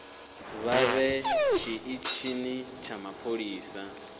vha ye tshiṱitshini tsha mapholisa